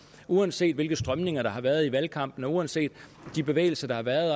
uanset de strømninger der har været i valgkampen og uanset de bevægelser der har været